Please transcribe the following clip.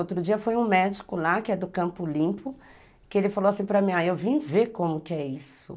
Outro dia foi um médico lá, que é do Campo Limpo, que ele falou assim para mim, aí eu vim ver como que é isso.